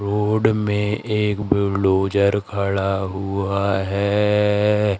Road में एक bulldozer खड़ा हुआ है।